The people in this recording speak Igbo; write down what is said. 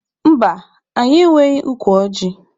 Mba, anyị enweghị ukwu ọjị.